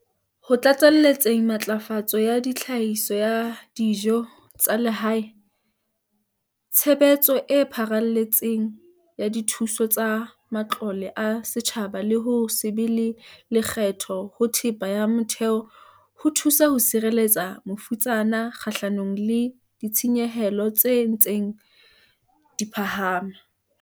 Ho tlatselletseng matlafatso ya tlhahiso ya dijo tsa lehae, tshebetso e pharelletseng ya dithuso tsa matlole a setjhaba le ho se be le lekgetho ho thepa ya motheo ho thuso ho sireletsa mafutsana kgahlanong le ditshenyehelo tse ntseng di phahama.